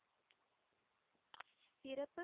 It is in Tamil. இறப்பு?